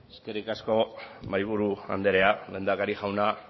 eskerrik asko mahaiburu andrea lehendakari jauna